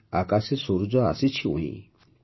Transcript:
ଆକାଶେ ସୂରୁଜ ଆସିଛି ଉଇଁ